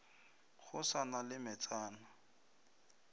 go sa na le metsana